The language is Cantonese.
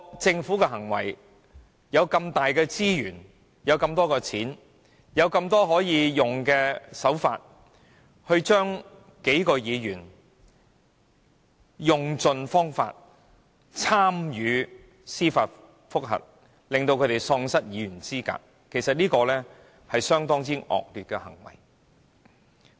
政府擁有這麼龐大的資源及金錢，竟然用盡可以採用的手法，透過司法覆核，令數名議員喪失議員資格，這是相當惡劣的行為。